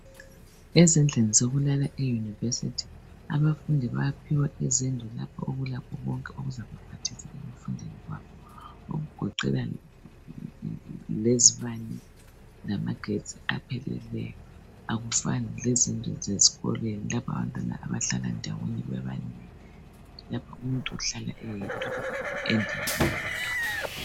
Ezindlini zokulala eyunivesithi abafundi bayaphiwa izindlu lapho okulakho konke okuzabaphathisa ezifundweni zabo okugoqela lezibane lamagetsi aphelileyo akufani lezindlu zesikolweni lapha abantwana abahlala ndawonye bebanengi lapho umuntu uhlala eyedwa endlini eyodwa.